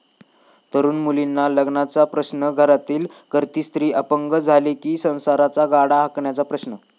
तरुण मुलींना लग्नाचा प्रश्न, घरातील करती स्त्री अपंग झाली कि संसाराचा गाडा हाकण्याचा प्रश्न...